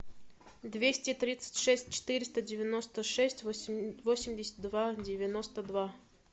двести тридцать шесть четыреста девяносто шесть восемьдесят два девяносто два